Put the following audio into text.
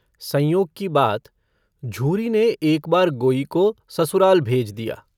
संयोग की बात झूरी ने एक बार गोई को ससुराल भेज दिया।